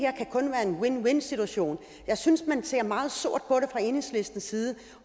win win situation jeg synes at man ser meget sort på det fra enhedslistens side